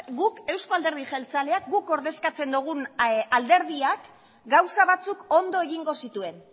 guk eusko alderdi jeltzaleak guk ordezkatzen dugun alderdia gauza batzuk ondo egingo zituen